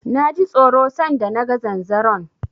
Na ji tsoro san da na ga zanzaron.